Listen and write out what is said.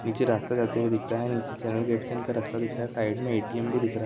नीचे रास्ता जाते हुए दिख रहा है नीचे चैन गेट से इन का रास्ता दिख रहा है साइड में ऐ.टी.एम. भी दिख रहा--